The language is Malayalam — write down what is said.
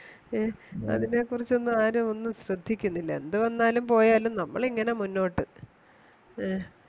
അതിനെ കുറിച്ച് ഒന്നും ആരും ഒന്നും ശ്രദ്ധിക്കുന്നില്ല എന്തുവന്നാലും പോയാലും നമ്മൾ ഇങ്ങനെ മുന്നോട്ടു ആഹ്